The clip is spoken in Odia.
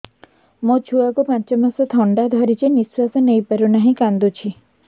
ମୋ ଛୁଆକୁ ପାଞ୍ଚ ମାସ ଥଣ୍ଡା ଧରିଛି ନିଶ୍ୱାସ ନେଇ ପାରୁ ନାହିଁ କାଂଦୁଛି